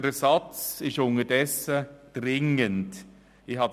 Der Ersatz ist unterdessen dringend notwendig.